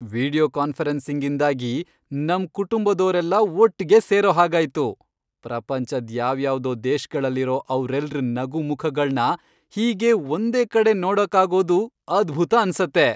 Video ಕಾನ್ಫರೆನ್ಸಿಂಗ್ಇಂದಾಗಿ ನಮ್ ಕುಟುಂಬದೋರೆಲ್ಲ ಒಟ್ಗೆ ಸೇರೋ ಹಾಗಾಯ್ತು. ಪ್ರಪಂಚದ್ ಯಾವ್ಯಾವ್ದೋ ದೇಶ್ಗಳಲ್ಲಿರೋ ಅವ್ರೆಲ್ರ್ ನಗು ಮುಖಗಳ್ನ ಹೀಗೆ ಒಂದೇ ಕಡೆ ನೋಡೋಕಾಗೋದು ಅದ್ಭುತ ಅನ್ಸತ್ತೆ!